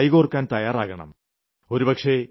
അവർക്കൊപ്പം കൈകോർക്കാൻ തയ്യാറാകണം